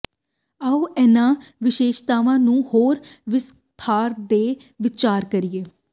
ਆਓ ਇਹਨਾਂ ਵਿਸ਼ੇਸ਼ਤਾਵਾਂ ਨੂੰ ਹੋਰ ਵਿਸਥਾਰ ਤੇ ਵਿਚਾਰ ਕਰੀਏ